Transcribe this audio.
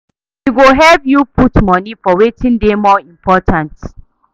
E go help yu put moni for wetin dey more important